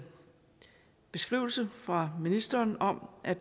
beskrivelse fra ministeren om at